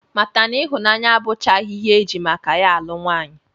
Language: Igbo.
Mata na ịhụnanya abụchaghị ihe e ji maka ya alụ nwaanyị